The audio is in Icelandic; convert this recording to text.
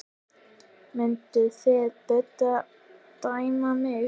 Mynduð þið Bubbi dæma mig?